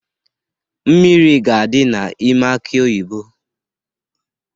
Mmiri ga-adi n'ime aki oyibo